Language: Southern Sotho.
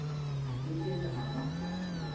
a ke keng a ba